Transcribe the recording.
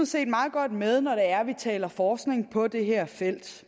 set meget godt med når man taler forskning på det her felt